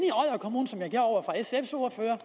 der over for sfs ordfører